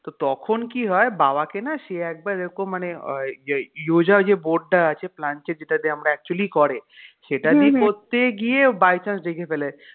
তো তখন কি হয় বাবাকে না সে একবার এরকম মানে উহ ইয়োঝা যে board টা আছে planchette যেটাতে actually করে সেটা করতে গিয়ে ও by chance দেখে ফেলেছে